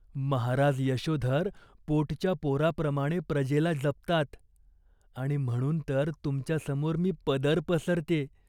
महाराज यशोधर पोटच्या पोराप्रमाणे प्रजेला जपतात. आणि म्हणून तर तुमच्यासमोर मी पदर पसरत्ये.